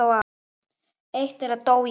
Eitt þeirra dó í æsku.